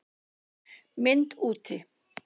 MYND úti